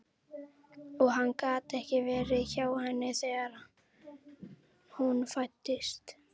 Og hann gat ekki verið hjá henni þegar hún fæddist.